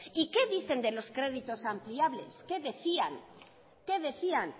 y qué dicen de los créditos ampliables qué decían